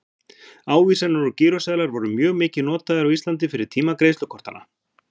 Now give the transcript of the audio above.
ávísanir og gíróseðlar voru mjög mikið notaðir á íslandi fyrir tíma greiðslukortanna